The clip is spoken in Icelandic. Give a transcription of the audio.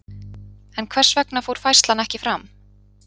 En hvers vegna fór færslan ekki fram?